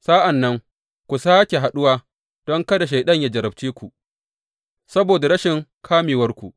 Sa’an nan ku sāke haɗuwa don kada Shaiɗan yă jarrabce ku saboda rashin ƙamewarku.